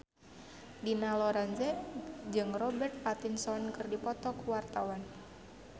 Dina Lorenza jeung Robert Pattinson keur dipoto ku wartawan